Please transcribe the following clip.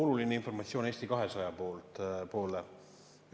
Mul on oluline informatsioon Eesti 200-le.